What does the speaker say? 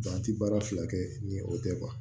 an ti baara fila kɛ ni o tɛ